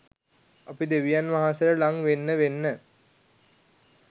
අපි දෙවියන් වහන්සේට ළං වෙන්න වෙන්න